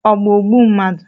Ọ bụ ogbu mmadụ?